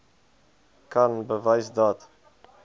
kan bewys dat